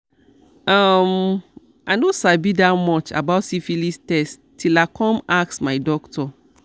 um i no sabi that much about syphilis test till i come ask my doctor